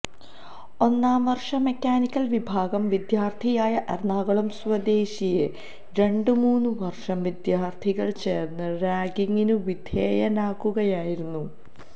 ഒന്നാം വർഷ മെക്കാനിക്കൽ വിഭാഗം വിദ്യാർഥിയായ എറണാകുളം സ്വദേശിയെ രണ്ടും മൂന്നും വർഷ വിദ്യാർഥികൾ ചേർന്നു റാഗിങ്ങിനു വിധേയനാക്കുകയായിരുന്നു